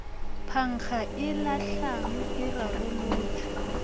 phankga le lahlang e rarolotšwe